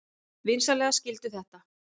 Vinsamlegast skildu þetta.